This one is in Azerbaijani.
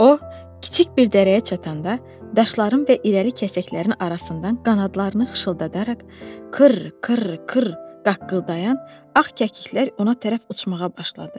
O kiçik bir dərəyə çatanda daşların və irəli kəsəklərin arasından qanadlarını xışıldadaraq qır qır qır qaqqıldayan ağ kəkliklər ona tərəf uçmağa başladı.